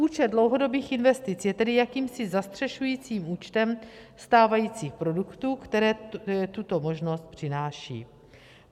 Účet dlouhodobých investic je tedy jakýmsi zastřešujícím účtem stávajících produktů, které tuto možnost přináší.